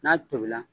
N'a tobila